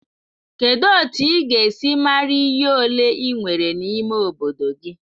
Kedu otu ị ga-esi mara iyi ole ị nwere n'ime obodo gị?